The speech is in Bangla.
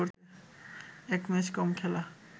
এক ম্যাচ কম খেলা